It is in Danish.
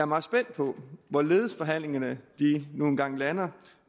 meget spændt på hvorledes forhandlingerne nu engang lander